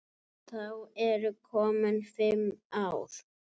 Þá eru komin fimm ár.